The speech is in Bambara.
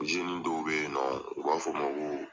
dɔw bɛ yen nɔ , u b'a fɔ o ma ko